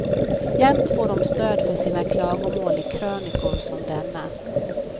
Jämt får de stöd för sina klagomål i krönikor som denna.